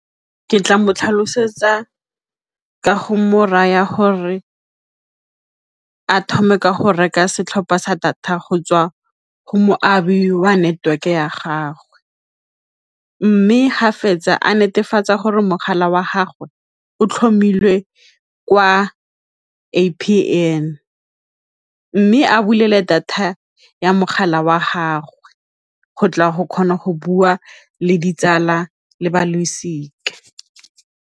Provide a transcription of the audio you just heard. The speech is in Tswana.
Ke tla motlhalosetsa ka go mo raya gore a thome go reka setlhopha sa data go tswa go moabi wa network ya gagwe, mme fa fetsa a netefatsa gore mogala wa gagwe o tlhomile kwa A_P_N, mme a bulele data ya mogala wa gagwe go tla go kgona go bua le ditsala le ba losika.